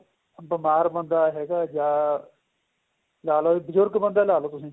ਬੀਮਾਰ ਬੰਦਾ ਹੈਗਾ ਜਾਂ ਲਾਲੋ ਬਜ਼ੁਰਗ ਬੰਦਾ ਲਾਲੋ ਤੁਸੀਂ